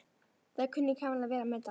Það kunni Kamilla vel að meta.